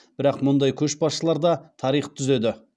бірақ мұндай көшбасшылар да тарих түзеді